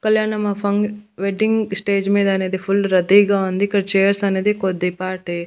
కల్యాణమాఫంగ్ wedding stage మీద అనేది full రద్దీగా ఉంది ఇక్కడ చైర్స్ అనేది కొద్దిపాటి.